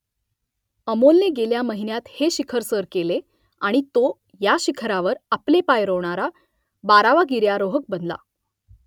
अमोलने गेल्या महिन्यात हे शिखर सर केले आणि तो या शिखरावर आपले पाय रोवणारा बारावा गिर्यारोहक बनला